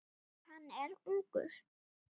Og hann er ungur.